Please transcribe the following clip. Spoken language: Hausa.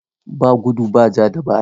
Ba gudu ba ja da baya.